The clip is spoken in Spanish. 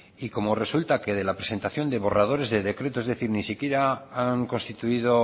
y como resulta que de la presentación de borradores de decretos es decir ni siquiera han constituido